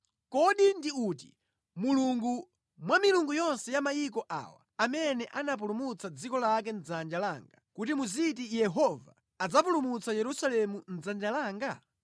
Kodi ndi milungu iti mwa milungu yonse ya mayiko awa amene anapulumutsa dziko lake mʼdzanja? Nanga tsono Yehova adzapulumutsa Yerusalemu mʼdzanja langa motani?”